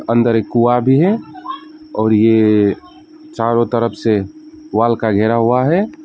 अंदर एक कुंआ भी है और ये चारों तरफ से वाल का घेरा हुआ है।